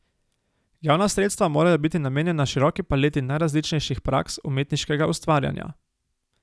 Javna sredstva morajo biti namenjena široki paleti najrazličnejših praks umetniškega ustvarjanja.